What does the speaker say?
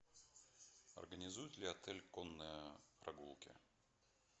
организует ли отель конные прогулки